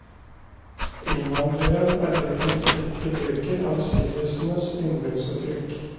Innvandreren er blitt en flittig bruker av siddisenes yndlingsuttrykk.